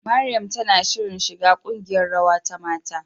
Mariam tana shirin shiga ƙungiyar rawa ta mata.